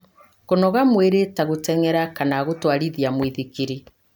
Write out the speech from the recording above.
Kũnogora mwĩrĩ ta gũteng'era kana gũtwarithia mũithikiri